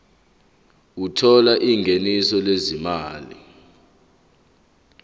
othola ingeniso lezimali